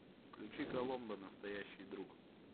включи коломбо настоящий друг